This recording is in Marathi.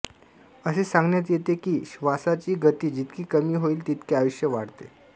असे सांगण्यात येते कि श्वासाची गती जितकी कमी होईल तितके आयुष्य वाढते